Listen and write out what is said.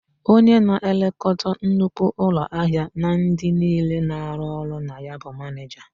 Onye na-elekọta nnukwu ụlọahịa na ndị niile na-arụ ọrụ na ya bụ manịja.